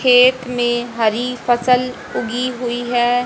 खेत में हरी फसल उगी हुई है।